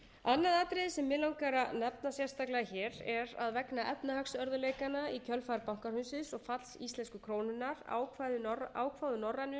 annað atriði sem mig langar að nefna sérstaklega hér er að vegna efnahagsörðugleikanna í kjölfar bankahrunsins og falls íslensku krónunnar ákváðu norrænu